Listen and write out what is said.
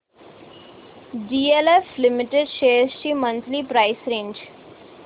DLF limited shares ची monthly price range